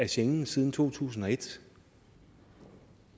schengen siden to tusind og et